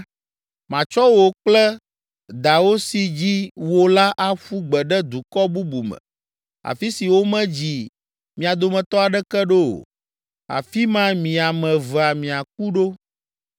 Matsɔ wò kple dawò si dzi wò la aƒu gbe ɖe dukɔ bubu me, afi si womedzi mia dometɔ aɖeke ɖo o; afi ma mi ame evea miaku ɖo.